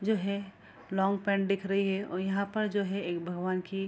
जो है long pant दिख रही है ओ यहां पर जो है एक भगवान की --